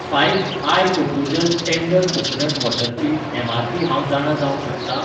Five आय कोकोजल tender coconut वॉटरची एमआरपी हांव जाणा जावंक शकता ?